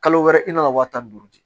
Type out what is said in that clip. Kalo wɛrɛ i nana waa tan ni duuru di